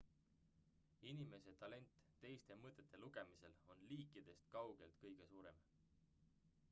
inimese talent teiste mõtete lugemisel on liikidest kaugelt kõige suurem